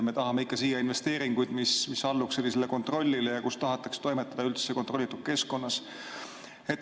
Me tahame ikka siia investeeringuid, mis alluks kontrollile, ja tahetakse toimetada kontrollitud keskkonnas.